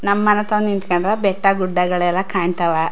ನಮ್ಮ್ ಮನೆತವ್ ನಿಂತ್ಕೊಂಡ್ರ ಬೆಟ್ಟಾಗುಡ್ಡಗಳೆಲ್ಲಾ ಕಾಣ್ತವ --